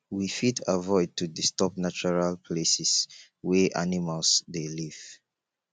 we fit avoid to disturb natural places wey animals dey live